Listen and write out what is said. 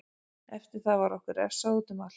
Eftir það var okkur refsað útum allt.